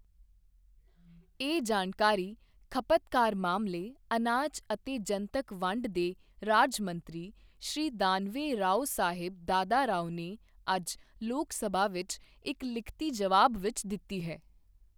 ਇਹ ਜਾਣਕਾਰੀ ਖਪ਼ਤਕਾਰ ਮਾਮਲੇ, ਅਨਾਜ ਅਤੇ ਜਨਤਕ ਵੰਡ ਦੇ ਰਾਜ ਮੰਤਰੀ ਸ਼੍ਰੀ ਦਾਨਵੇ ਰਾਓਸਾਹੇਬ ਦਾਦਾਰਾਓ ਨੇ ਅੱਜ ਲੋਕ ਸਭਾ ਵਿੱਚ ਇੱਕ ਲਿਖਤੀ ਜਵਾਬ ਵਿੱਚ ਦਿੱਤੀ ਹੈ।